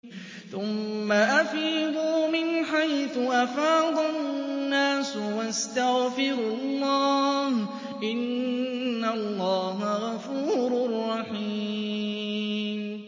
ثُمَّ أَفِيضُوا مِنْ حَيْثُ أَفَاضَ النَّاسُ وَاسْتَغْفِرُوا اللَّهَ ۚ إِنَّ اللَّهَ غَفُورٌ رَّحِيمٌ